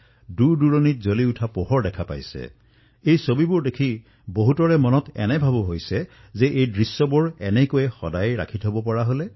এই চিত্ৰসমূহ দেখি বহু লোকৰ মনত এই সংকল্পভাৱৰ উদয় হৈছে যে এই দৃশ্যসমূহ আমি সদায়েই এনেকৈ ৰাখিম